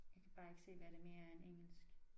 Jeg kan bare ikke se hvad det mere er end engelsk